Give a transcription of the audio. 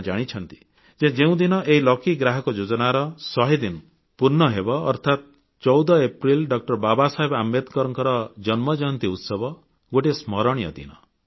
ଆପଣ ଜାଣିଛନ୍ତି ଯେ ଯେଉଁଦିନ ଏହି ଲକି ଗ୍ରାହକ ଯୋଜନାର ଶହେ ଦିନ ପୂର୍ଣ୍ଣହେବ ଅର୍ଥାତ୍ 14 ଅପ୍ରେଲ ଡଃ ବାବାସାହେବ ଆମ୍ବେଦକରଙ୍କ ଜନ୍ମ ଜୟନ୍ତୀ ଉତ୍ସବ ଗୋଟିଏ ସ୍ମରଣୀୟ ଦିନ